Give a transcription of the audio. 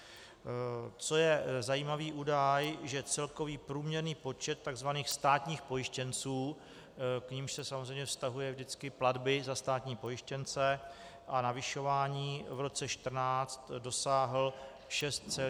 Co je zajímavý údaj, že celkový průměrný počet tzv. státních pojištěnců, k nimž se samozřejmě vztahují vždycky platby za státní pojištěnce a navyšování, v roce 2014 dosáhl 6,1 milionu osob.